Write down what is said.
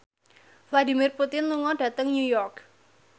Vladimir Putin lunga dhateng New York